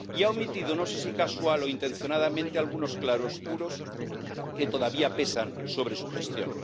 Y ha omitido, no sé si casual o intencionadamente, algunos claroscuros que todavía pesan sobre su gestión.